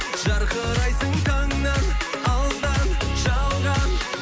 жарқырайсың таңнан алдан жалған